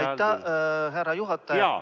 Aitäh, härra juhataja!